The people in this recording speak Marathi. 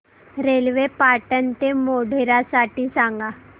रेल्वे पाटण ते मोढेरा साठी सांगा